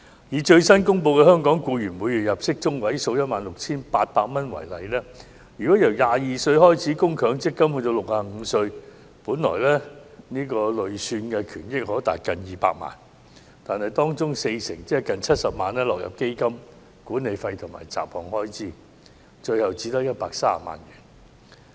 以最新公布的香港僱員每月入息中位數 16,800 元為例，如由22歲開始為強積金供款至65歲，累算權益本來可達近200萬元，但當中 40% 即近70萬元將落入基金的管理費及雜項開支，最後只餘130萬元。